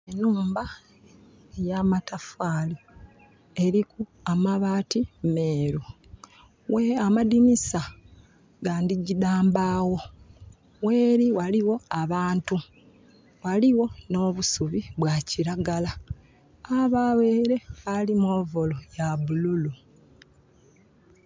Nhumba ya matafaali. Eliku amabaati meeru. Amadinisa ga ndhigyi dha mbaagho. Gheli ghaligho abantu. Ghaligho nh'obusubi bwa kiragala. Ghabagho ele ali mu overall ya bululu.